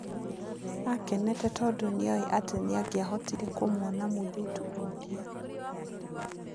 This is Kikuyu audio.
Akenete tondũ nĩoĩ atĩ nĩangĩahotire kũmuona mũirĩtu ũrĩa.